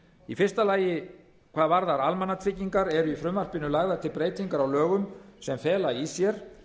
í fyrsta lagi hvað varðar almannatryggingar í frumvarpinu eru lagðar til breytingar á lögum sem fela í sér